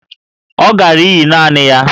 Ọ gara íyí naanị ya